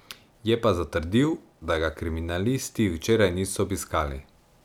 Je pa zatrdil, da ga kriminalisti včeraj niso obiskali.